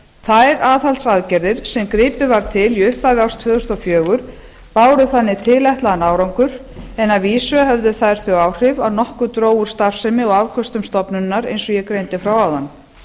þær aðhaldsaðgerðir sem gripið var til í upphafi árs tvö þúsund og fjögur báru þannig tilætlaðan árangur en að vísu höfðu þær þau áhrif að nokkuð dró úr starfsemi og afköstum stofnunarinnar eins og ég greindi frá áðan